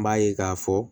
N b'a ye k'a fɔ